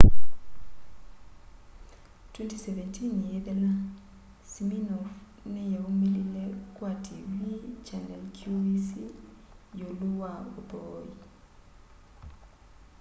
2017 yiithela siminoff niyaumilile kwa tiivii channel qvc yiulu wa uthooi